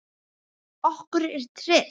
Okkur er treyst